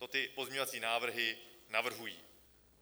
To ty pozměňovací návrhy navrhují.